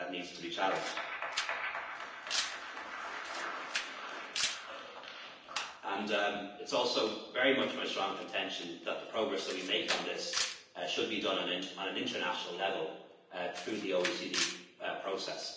rate. I think that needs to be challenged. It's also very much my strong contention that the progress that we make on this should be done at international level through the OECD process.